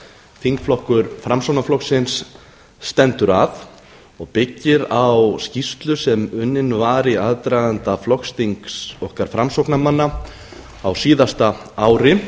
þingflokkur framsóknarflokksins stendur að og byggir á skýrslu sem unnin var í aðdraganda flokksþings okkar framsóknarmanna á síðasta ári